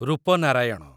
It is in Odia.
ରୂପନାରାୟଣ